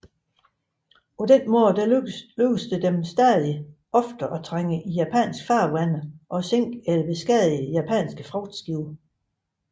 Således lykkedes det dem stadig oftere at trænge i japanske farvande og sænke eller beskadige japanske fragtskibe